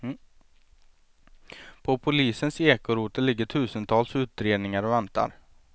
På polisen ekorotel ligger tusentals utredningar och väntar.